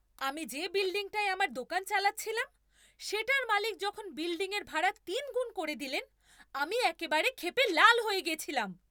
আমি যে বিল্ডিংটায় আমার দোকান চালাচ্ছিলাম, সেটার মালিক যখন বিল্ডিংয়ের ভাড়া তিনগুণ করে দিলেন, আমি একেবারে ক্ষেপে লাল হয়ে গেছিলাম।